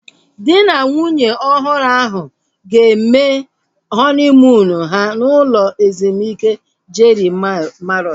Dị na nwunye ọhụrụ ahu ga-eme họniimuunu ha n'ụlọ ezumike Jeri Mariọt